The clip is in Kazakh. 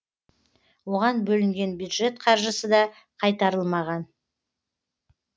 оған бөлінген бюджет қаржысы да қайтарылмаған